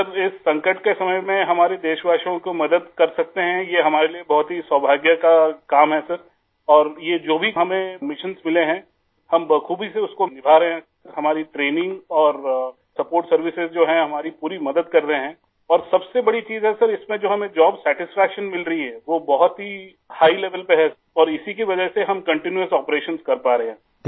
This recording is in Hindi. सरइस संकट के समय में हमारे देशवासियों को मदद कर सकते हैं यह हमारे लिए बहुत ही सौभाग्य का काम है सर और यह जो भी हमें मिशन्स मिले हैं हम बख़ूबी से उसको निभा रहे हैं आई हमारी ट्रेनिंग और सपोर्ट सर्विसेज जो हैं हमारी पूरी मदद कर रहे हैं और सबसे बड़ी चीज़ है सर इसमें जो हमें जॉब सैटिस्फैक्शन मिल रही है वो बहुत ही हिघ लेवेल पे है और इसी कि वजह से हम कंटीन्यूअस operationsकर पा रहे हैं आई